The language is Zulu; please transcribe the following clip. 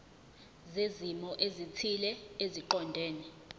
zezimo ezithile eziqondene